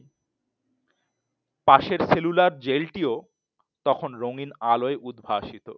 পাশের সেলুলার জেলটিও তখন রঙিন আলোয় উদ্ভাসিত